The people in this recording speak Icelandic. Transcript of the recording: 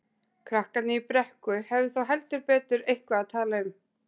Krakkarnir í Brekku hefðu þá heldur betur eitthvað að tala um.